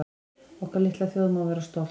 Okkar litla þjóð má vera stolt